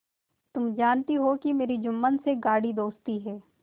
तुम जानती हो कि मेरी जुम्मन से गाढ़ी दोस्ती है